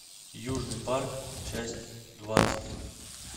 южный парк часть двадцать